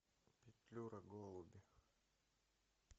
петлюра голуби